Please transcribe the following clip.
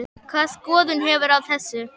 Hvaða skoðun hefurðu á þessu?